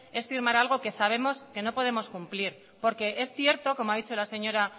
es firmar algo que sabemos que no podemos cumplir porque es cierto como ha dicho la señora